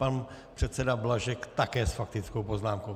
Pan předseda Blažek také s faktickou poznámkou.